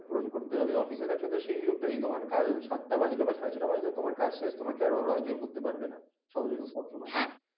পুরন করতে হবে অফিস এ থাকলে তো সেই নিয়মটা নেই তোমার সাতটা বাজলেও সাড়ে ছটা বাজলেও তোমার কাজ শেষ তোমাকে আর ওরাও জোর করতে পারবে না সবসময়